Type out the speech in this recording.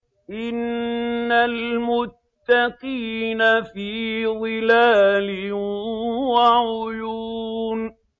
إِنَّ الْمُتَّقِينَ فِي ظِلَالٍ وَعُيُونٍ